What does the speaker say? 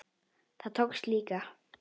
Það tókst líka.